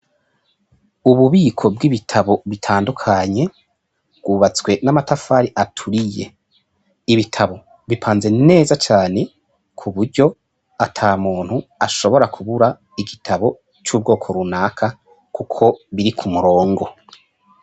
Ububiko bw'ibitabo bitandukanye bwubatswe n'amatafari aturiye ibitabo bipanze neza cane ku buryo ata muntu ashobora kubura igitabo c'ubwoko runaka, kuko biri ku murongo.